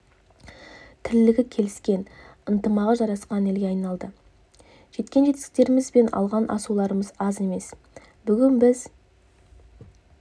тірлігі келіскен ынтымағы жарасқан елге айналды жеткен жетістіктеріміз бен алған асуларымыз аз емес бүгін біз